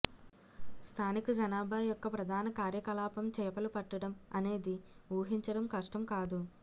స్థానిక జనాభా యొక్క ప్రధాన కార్యకలాపం చేపలు పట్టడం అనేది ఊహించడం కష్టం కాదు